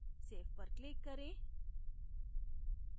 save पर click करें